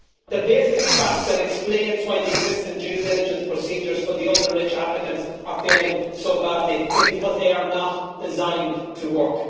The basic fact that explains why the existing due diligence procedures for the ultra rich applicants are failing so badly is because they are not designed to work.